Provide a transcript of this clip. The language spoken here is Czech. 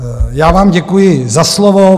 Já vám děkuji za slovo.